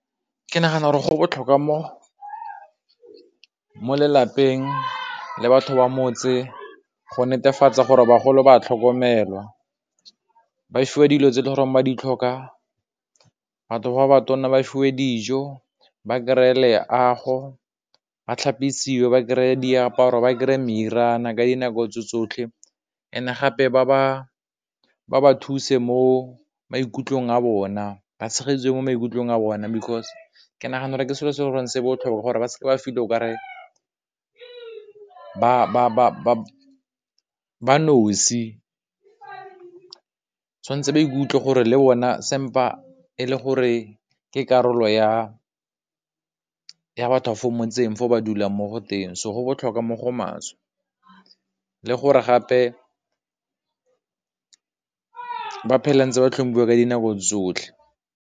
Ke nagana gore go botlhokwa mo lelapeng le batho ba motse go netefatsa gore bagolo ba tlhokomelwa ba fiwa dilo tse e le goreng ba di tlhoka, batho ba ba tonna ba fiwe dijo, ba kry-e leago, ba tlhapisiwa ba kry-e diaparo, ba kry meriana ka dinako tsotlhe and gape ba ba thuse mo maikutlong a bona ba tshegediwe mo maikutlong a bona, because ke nagana gore ke selo se se botlhokwa gore ba seke ba feel-a o ka re ba nosi tshwanetse, ba ikutlwe gore le bone e le gore ke karolo ya batho ba fo motseng fo ba dulang mo go teng, so go botlhokwa mo go maswe le gore gape ba phela ntse ba tlhomphiwa ka dinako tsotlhe.